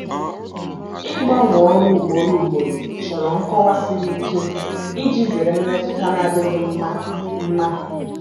Ịgbanwe ọrụ ugboro ugboro chọrọ nkọwa siri ike iji zere mmetụta na-adịghị mma. mma.